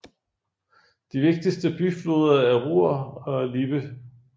De vigtigste bifloder er Ruhr og Lippe